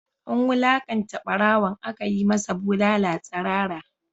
An wulakanta barawon, aka yi masa bulala tsirara